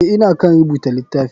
Eh ,ina kan rubuta litafi.